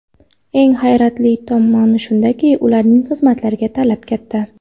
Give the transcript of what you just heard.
Eng hayratlanarli tomoni shundaki, ularning xizmatlariga talab katta.